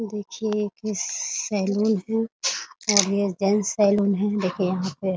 देखिए एक सैलून है और यह जेंट्स सैलून है देखिए यहाँ पे --